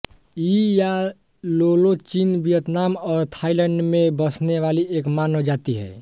यी या लोलो चीन वियतनाम और थाईलैंड में बसने वाली एक मानव जाति है